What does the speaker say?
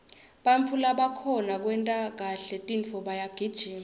bantfu labakhona kwenta kahle tintfo bayagijima